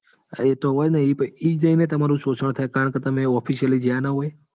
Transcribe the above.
એતો હોય ને? એજ જઈને તમારું શોષણ થાય. કારણ કે તમે officially જ્યાં ના હોય.